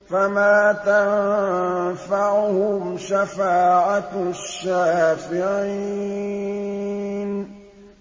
فَمَا تَنفَعُهُمْ شَفَاعَةُ الشَّافِعِينَ